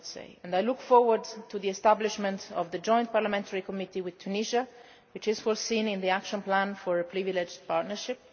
for us. I look forward to the establishment of the Joint Parliamentary Committee with Tunisia, which is provided for in the action plan for a privileged partnership.